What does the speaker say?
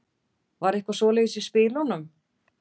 Var eitthvað svoleiðis í spilunum?